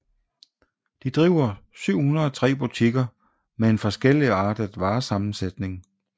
De driver 703 butikker med en forskelligartet varesammensætning